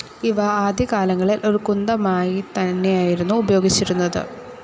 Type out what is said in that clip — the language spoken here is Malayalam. ഇവ ആദ്യകാലങ്ങളിൽ ഒരു കുന്തമായിത്തന്നെയായിരുന്നു ഉപയോഗിച്ചിരുന്നത്.